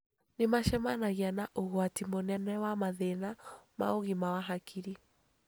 Nĩ macemanagia na ũgwati mũnene wa mathĩna ma ũgima wa hakiri.